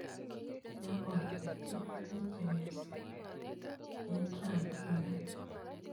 Ya kot ochei, meche kesal eng rangik kora.